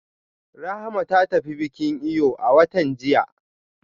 Rahama ta tafi bikin eyo a watan jiya